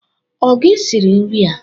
O gi siri nri a?